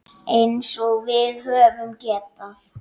Eins og við höfum getað.